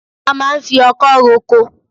A máa ń fi ọkọ roko